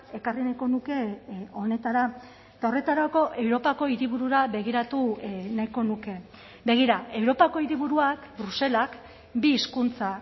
ekarri nahiko nuke honetara eta horretarako europako hiriburura begiratu nahiko nuke begira europako hiriburuak bruselak bi hizkuntza